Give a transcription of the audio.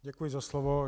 Děkuji za slovo.